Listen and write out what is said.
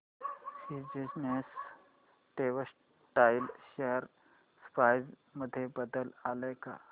seasons textile share price मध्ये बदल आलाय का